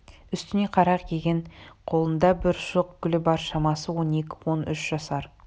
үстіне қара киген қолында бір шоқ гүлі бар шамасы он екі-он үш жасар